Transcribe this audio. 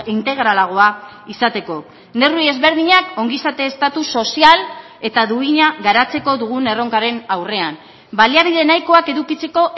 integralagoa izateko neurri ezberdinak ongizate estatu sozial eta duina garatzeko dugun erronkaren aurrean baliabide nahikoak edukitzeko